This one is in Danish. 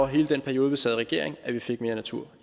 hele den periode vi sad i regering at vi fik mere natur